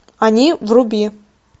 они вруби